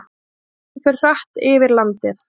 Hún fer hratt yfir landið.